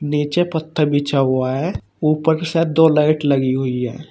नीचे पत्थर बिछा हुआ है ऊपर से दो लाइट लगी हुई है।